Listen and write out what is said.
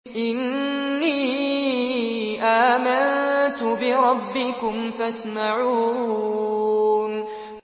إِنِّي آمَنتُ بِرَبِّكُمْ فَاسْمَعُونِ